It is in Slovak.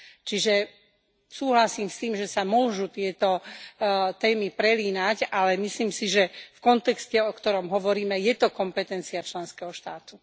Čiže, súhlasím s tým, že sa môžu tieto témy prelínať, ale myslím si, že v kontexte, o ktorom hovoríme, je to kompetencia členského štátu.